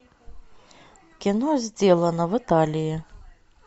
кино сделано в италии